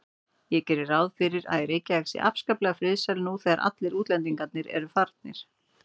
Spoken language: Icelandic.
Ég geri ráð fyrir að Reykjavík sé afskaplega friðsæl nú þegar allir útlendingar eru farnir.